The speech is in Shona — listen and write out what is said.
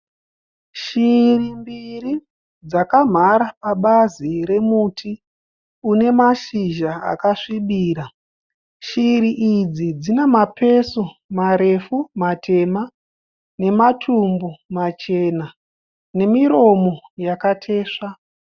Shiri mbiri dzakamhara pabazi remuti une mashizha akasvibira. Shiri idzi dzina mapesu marefu, matema nematumbu machena, nemiromo yakatesva.